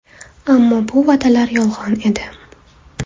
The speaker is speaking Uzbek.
Ammo bu va’dalar yolg‘on edi.